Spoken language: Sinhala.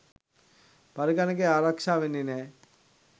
පරිගකනය ආරක්ෂා වෙන්නේ නෑ